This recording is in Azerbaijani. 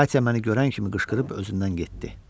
Katya məni görən kimi qışqırıb özündən getdi.